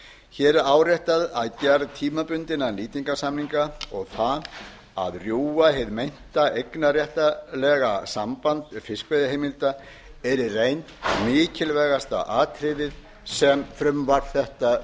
hér er áréttað að gerð tímabundinna nýtingarsamninga og það að rjúfa hið meinta eignarréttarlega samband fiskveiðiheimilda er í reynd mikilvægasta atriðið sem frumvarp þetta